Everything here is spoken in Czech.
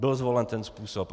Byl zvolen ten způsob.